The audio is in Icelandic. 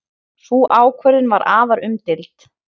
Sú ákvörðun var afar umdeild.